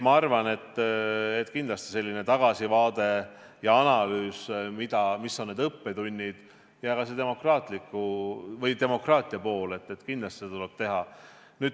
Ma arvan, et kindlasti tagasivaadet ja analüüsi, mis on need õppetunnid, tuleb kindlasti teha ja ka seda demokraatia poolt tuleb vaadata.